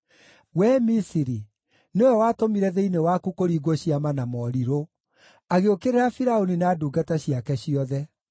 Wee Misiri, nĩwe watũmire thĩinĩ waku kũringwo ciama na morirũ, agĩũkĩrĩra Firaũni na ndungata ciake ciothe.